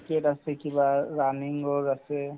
cricket আছে কিবা running ৰ আছে